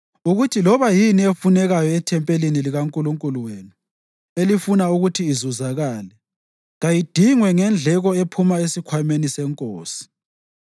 Akuthi loba yini efunekayo ethempelini likaNkulunkulu wenu elifuna ukuthi izuzakale, kayidingwe ngendleko ephuma esikhwameni senkosi.